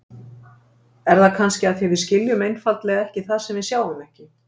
Er það kannski af því við skiljum einfaldlega ekki það sem við sjáum ekki?